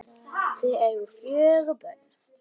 Þau eiga fjögur börn